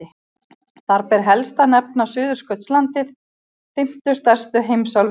Þar ber helst að nefna Suðurskautslandið, fimmtu stærstu heimsálfu jarðar.